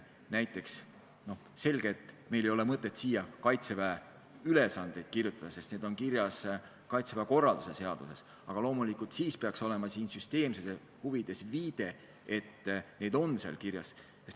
Näiteks on selge, et meil ei ole mõtet siia Kaitseväe ülesandeid kirjutada, sest need on kirjas Kaitseväe korralduse seaduses, aga loomulikult peaks süsteemsuse huvides olema viide, et need on seal kirjas.